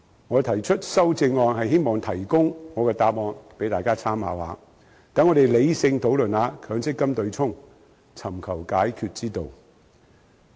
我提出修正案是希望提供我的答案給大家參考，讓大家理性討論強制性公積金對沖機制，尋求解決之道。